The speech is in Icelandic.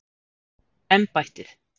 embættið